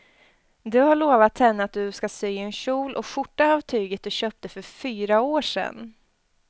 Du har lovat henne att du ska sy en kjol och skjorta av tyget du köpte för fyra år sedan.